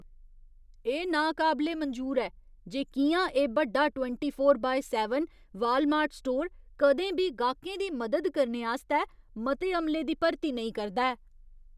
एह् नाकाबले मंजूर ऐ जे कि'यां एह् बड्डा twenty four by seven Walmart store कदें बी गाह्कें दी मदद करने आस्तै मते अमले दी भर्ती नेईं करदा ऐ।